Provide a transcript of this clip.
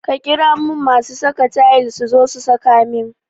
Ka ƙira mun masu saka tayil suzo su saka min